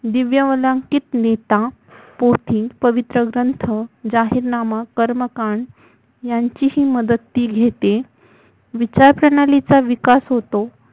दिव्यवलांकितलिता पोथी पवित्र ग्रंथ जाहीरनामा कर्मकांड यांचीही मदत ती घेते विचारप्रणालीचा विकास होतो